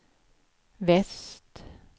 väst